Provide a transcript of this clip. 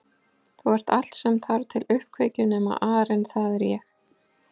Þú ert allt sem þarf til uppkveikju nema arinn það er ég